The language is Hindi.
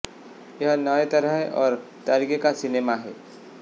यह नए तरह और तरीके का सिनेमा है